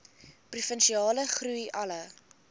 provinsiale groei alle